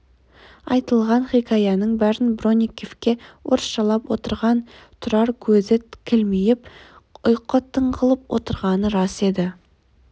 айтылған хикаяның бәрін бронниковке орысшалап отырған тұрар көзі кілмиіп ұйқы тығылып отырғаны рас еді